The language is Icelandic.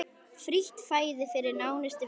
Frítt fæði fyrir nánustu vini.